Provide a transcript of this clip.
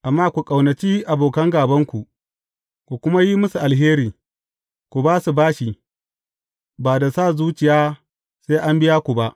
Amma, ku ƙaunaci abokan gābanku, ku kuma yi musu alheri, ku ba su bashi, ba da sa zuciya sai an biya ku ba.